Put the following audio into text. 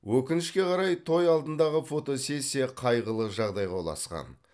өкінішке қарай той алдындағы фотосессия қайғылы жағдайға ұласқан